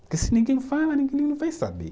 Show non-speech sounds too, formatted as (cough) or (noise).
(unintelligible) Se ninguém fala, ninguém (unintelligible) vai saber.